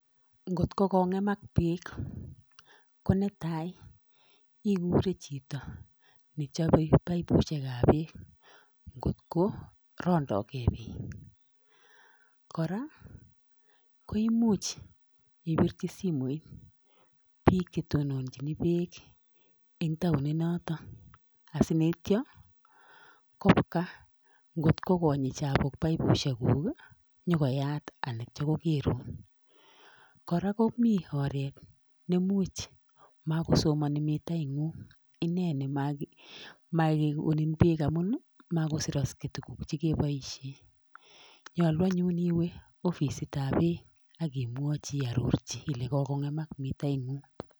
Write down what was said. Ngot ko kongemak beek ko netai ikure chito nechobe paipusiekab beek, kot ko rondooge beek. Kora koimuch ibirchi simoit bike che tononchii beek en taoninotok. Asiyeityoo kobwa kot konyii chapuk paipusiekuk konyon koyaat ak yeityoo kogeerun. Kora komiten oret neimuch makosomonii mitaingung, Nyolu anyun iwee ofisitab beek ak imwochi iarorchi ilenyii kokong'emak mitaingung.